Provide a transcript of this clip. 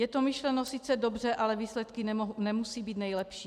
Je to myšleno sice dobře, ale výsledky nemusí být nejlepší.